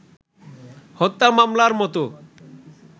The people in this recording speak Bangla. হত্যা মামলার মতো